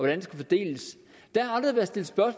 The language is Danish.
den skal fordeles